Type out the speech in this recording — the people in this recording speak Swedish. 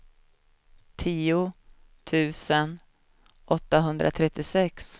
tio tusen åttahundratrettiosex